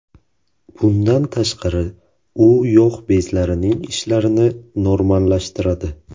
Bundan tashqari, u yog‘ bezlarining ishlashini normallashtiradi.